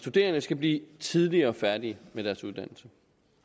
studerende skal blive tidligere færdige med deres uddannelse